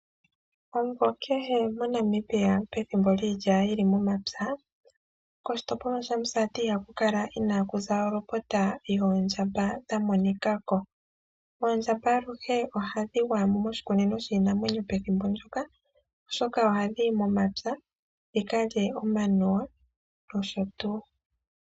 Omuvo kehe moNamibia pethimo lyiilya yili momapya, koshitopolwa shaMusati ihaku kala inaakuza olopota yoondjamba dhamonika ko. Oondjamba aluhe ohadhi gwaya mo moshikunino shiinamwenyo pethimbo ndyoka oshoka ohadhi yi momapya dhikalye omanuwa nosho tuu.